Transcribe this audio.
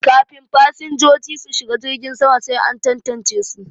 Kafin fasinjoji su shiga jirgin sama sai an tantance su